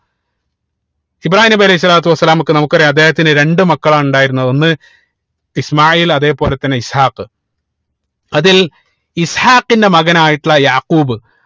ഇബ്രാഹീം നബി അലൈഹി സ്വലാത്തു വസ്സലാമക്ക് നമുക്കറിയ അദ്ദേഹത്തിന് രണ്ട് മക്കളാണ് ഉണ്ടായിരുന്നത് ഒന്ന് ഇസ്മാഈൽ അതേപോലെ തന്നെ ഇസ്ഹാഖ് അതിൽ ഇസ്ഹാഖിന്റെ മകനായിട്ടുള്ള യാഖൂബ്